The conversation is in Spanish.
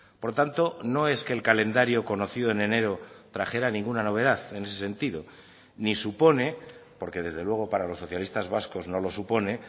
por tanto no es que el calendario conocido en enero trajera ninguna novedad en ese sentido ni supone porque desde luego para los socialistas vascos no lo supone